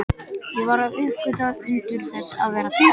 Ég var að uppgötva undur þess að vera til.